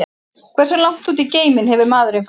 Hversu langt út í geiminn hefur maðurinn farið?